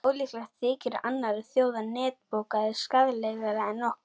Ólíklegt þykir að annarra þjóða neftóbak sé skaðlegra en okkar.